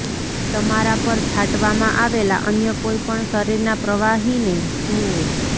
તમારા પર છાંટવામાં આવેલા અન્ય કોઈ પણ શરીરના પ્રવાહીને ધૂઓ